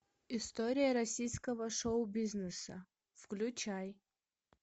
история российского шоу бизнеса включай